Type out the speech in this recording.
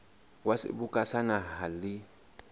wa seboka sa naha le